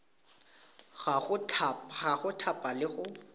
ya go thapa le go